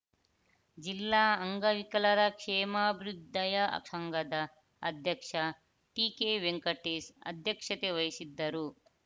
ಜಿಲ್ಲಾ ಅಂಗವಿಕಲರ ಕ್ಷೇಮಾಭ್ಯುದಯ ಸಂಘದ ಅಧ್ಯಕ್ಷ ಟಿಕೆವೆಂಕಟೇಶ್‌ ಅಧ್ಯಕ್ಷತೆ ವಹಿಸಿದ್ದರು